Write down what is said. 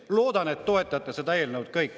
Loodan, et te kõik toetate seda eelnõu.